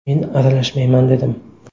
Men aralashmayman dedim.